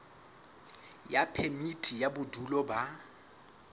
ya phemiti ya bodulo ba